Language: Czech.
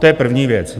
To je první věc.